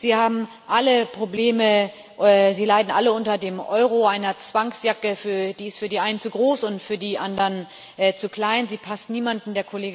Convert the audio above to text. Und sie haben alle Probleme Sie leiden alle unter dem Euro einer Zwangsjacke, die für die einen zu groß und für die anderen zu klein ist sie passt niemanden.